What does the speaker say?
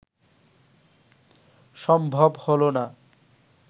সম্ভব হলো না